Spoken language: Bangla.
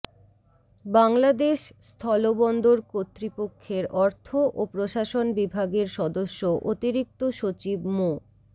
বাংলাদেশ স্থলবন্দর কর্তৃপক্ষের অর্থ ও প্রশাসন বিভাগের সদস্য অতিরিক্ত সচিব মো